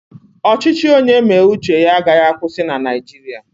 Ọchịchị onye mee uche ya agaghị akwụsị na Naijiria